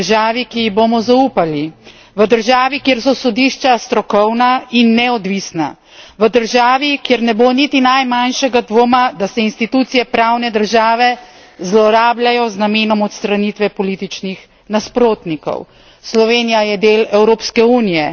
Slovenci želimo živeti v državi, ki ji bomo zaupali, v državi, kjer so sodišča strokovna in neodvisna, v državi, kjer ne bo niti najmanjšega dvoma, da se institucije pravne države zlorabljajo z namenom odstranitve političnih nasprotnikov.